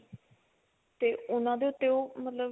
ਤੇ ਉਹਨਾਂ ਦੇ ਉੱਤੇ ਉਹ ਮਤਲਬ